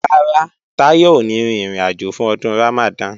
Rárá, Táyọ̀ ò ní rin ìrìnàjò fún Ọdún Ramadan